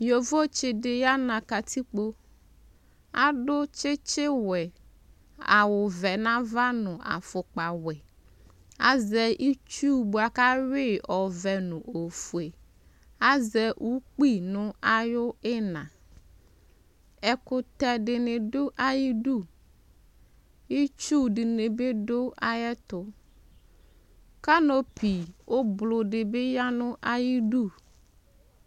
Yovotsi di yana katikpo Adʋ tsitsi wɛ, awʋ vɛ nava nʋ afʋkpa wɛ Azɛ itsʋ boa kʋ ayui yi ɔvɛ nʋ ofue Azɛ ukpi nʋ ayu ina Ɛkʋtɛ di ni dʋ ayidʋ Itsu di ni bi dʋ ayɛtʋ Kanopi ʋblʋɔ di bi ya nʋ ayidu